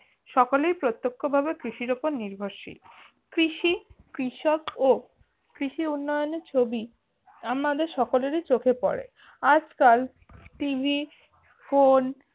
সকলে প্রত্যক্ষভাবে কৃষির উপর নির্ভরশীল কৃষি কৃষক ও কৃষি উন্নয়নে ছবি আমাদের সকলেরই চোখে পড়ে আজকাল টিভি ফোন